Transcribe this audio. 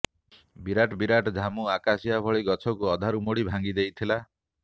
ବିରାଟ ବିରାଟ ଝାମୁ ଆକାଶିଆ ଭଳି ଗଛକୁ ଅଧାରୁ ମୋଡ଼ି ଭାଙ୍ଗି ଦେଇଥିଲା